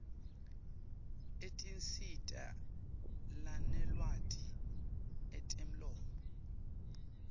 etinsita lanelwati etemlomo